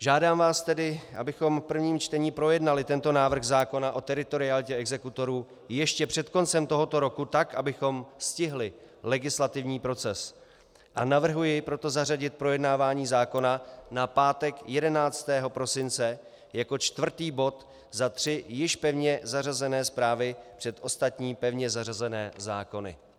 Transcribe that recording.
Žádám vás tedy, abychom v prvním čtení projednali tento návrh zákona o teritorialitě exekutorů ještě před koncem tohoto roku, tak abychom stihli legislativní proces, a navrhuji proto zařadit projednávání zákona na pátek 11. prosince jako čtvrtý bod za tři již pevně zařazené zprávy před ostatní pevně zařazené zákony.